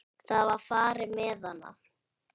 Það var farið með hana.